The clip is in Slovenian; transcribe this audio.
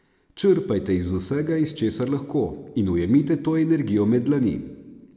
Črpajte iz vsega, iz česar lahko, in ujemite to energijo med dlani.